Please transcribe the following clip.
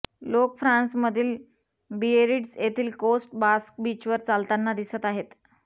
लोक फ्रान्समधील बिएरिट्झ येथील कोस्ट बास्क बीचवर चालताना दिसत आहेत